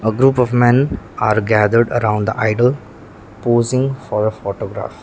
a group of men are gathered around the idol posing for a photograph.